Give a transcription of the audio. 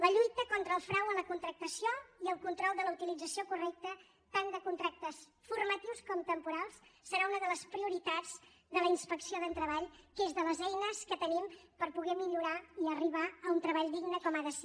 la lluita contra el frau en la contractació i el control de la utilització correcta tant de contractes formatius com temporals serà una de les prioritats de la inspecció de treball que és de les eines que tenim per poder millorar i arribar a un treball digne com ha de ser